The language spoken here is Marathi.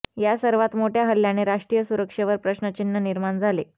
या सर्वात मोठया हल्ल्याने राष्ट्रीय सुरक्षेवर प्रश्नचिन्ह निर्माण झाले